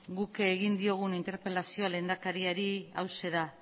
guk egin diogun interpelazioa lehendakariari hauxe da